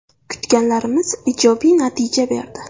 Kutganlarimiz ijobiy natija berdi.